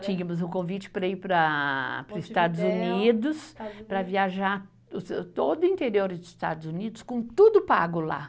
Tínhamos um convite para ir para, para os Estados Unidos, para viajar todo o interior dos Estados Unidos com tudo pago lá.